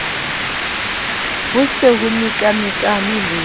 ho se ho mekamekanwe le